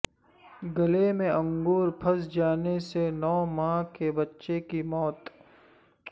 گلے میں انگور پھنس جانے سے نو ماہ کے بچے کی موت